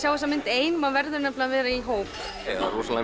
á þessa mynd ein maður verður að vera í hóp það er rosalega